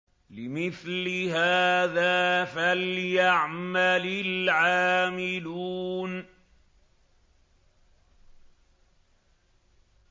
لِمِثْلِ هَٰذَا فَلْيَعْمَلِ الْعَامِلُونَ